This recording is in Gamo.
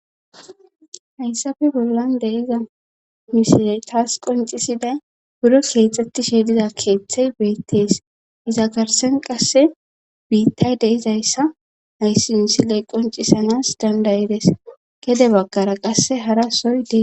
hayssafe bollan de7iza mishirey taas qoncisiday buro keexxetti sheediza keeththey beettees iza garsen qasse biittay de izayssa hayssi insiley qoncisanas dandayides gede bagkara qasse hara soy dees